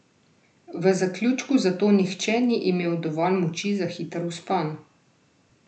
V zaključku zato nihče ni imel dovolj moči za hiter vzpon.